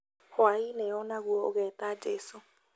Hwaĩ-inĩ o naguo ũgeta jesũ